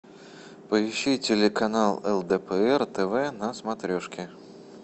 поищи телеканал лдпр тв на смотрешке